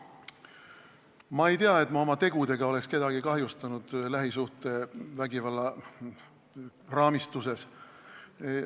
Ma ei tea, et ma oma tegudega oleksin kedagi lähisuhtevägivalla raamistuses kahjustanud.